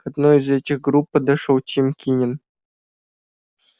к одной из этих групп подошёл тим кинен